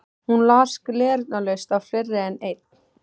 Hún las gleraugnalaust á fleiri en einn